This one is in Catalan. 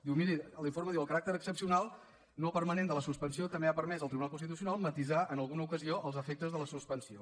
miri l’informe diu el caràcter excepcional no permanent de la suspensió també ha permès al tribunal constitucional matisar en alguna ocasió els efectes de la suspensió